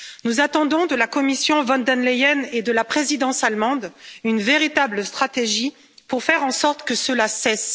Nous attendons de la Commission von der Leyen et de la présidence allemande une véritable stratégie pour faire en sorte que cela cesse.